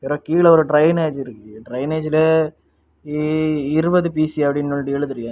இப்ப கீழ ஒரு டிரைனேஜ் இருக்கு டிரைனேஜ்ல இ இருவது பிசி அப்படின்னு ஒண்டி எழுதிருக்கு.